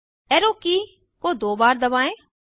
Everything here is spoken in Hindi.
एरो की को दो बार दबाएं